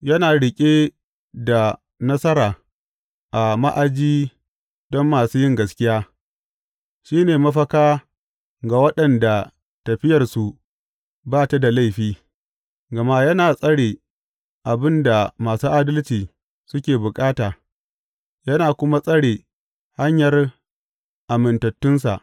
Yana riƙe da nasara a ma’aji don masu yin gaskiya, shi ne mafaka ga waɗanda tafiyarsu ba ta da laifi, gama yana tsare abin da masu adalci suke bukata yana kuma tsare hanyar amintattunsa.